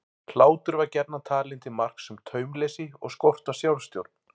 Hlátur var gjarnan talinn til marks um taumleysi og skort á sjálfstjórn.